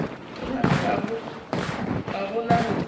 go bona gabotse ka tlase